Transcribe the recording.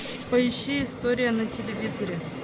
поищи история на телевизоре